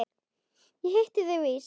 Ég hitti þig víst!